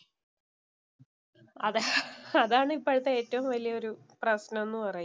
അതെ അതാണ് ഇപ്പോഴത്തെ ഏറ്റവും വലിയ ഒരു പ്രശ്നം എന്ന് പറയുന്നേ.